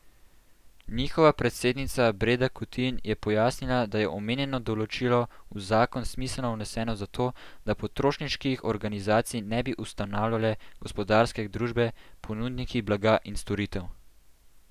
Njihova predsednica Breda Kutin je pojasnila, da je omenjeno določilo v zakon smiselno vneseno zato, da potrošniških organizacij ne bi ustanavljale gospodarske družbe, ponudniki blaga in storitev.